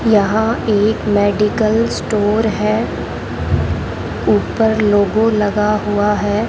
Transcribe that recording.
यहां एक medical store है ऊपर लोगो लगा हुआ है।